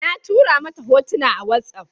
Na tura mata hotuna a watsaf